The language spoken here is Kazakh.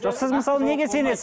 жоқ сіз мысалы неге сенесіз